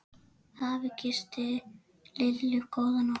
Afi kyssti Lillu góða nótt.